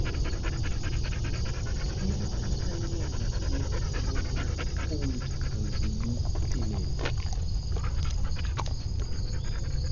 Ere kaka inyalo thiedh tuwo mar cold agglutinin?